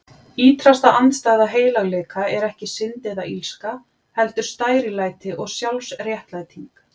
Ýtrasta andstæða heilagleika er ekki synd eða illska, heldur stærilæti og sjálfsréttlæting.